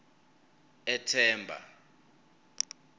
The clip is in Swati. ethemba